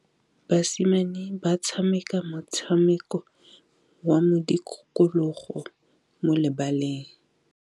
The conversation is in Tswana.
Basimane ba tshameka motshameko wa modikologô mo lebaleng.